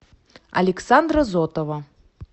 александра зотова